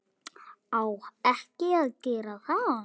Á ekki að gera það.